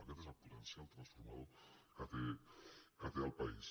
aquest és el potencial transformador que té el país